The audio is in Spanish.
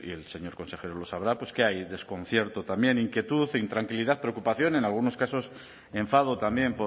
el señor consejero lo sabrá que hay desconcierto también inquietud intranquilidad preocupación en algunos casos enfado también